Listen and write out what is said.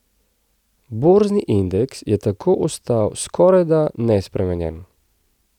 Borzni indeks je tako ostal skorajda nespremenjen.